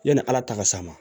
Yanni ala ta ka s'a ma